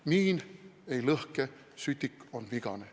Miin ei lõhke, sütik on vigane.